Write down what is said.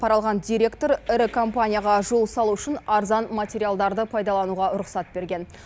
пара алған директор ірі компанияға жол салу үшін арзан материалдарды пайдалануға рұқсат берген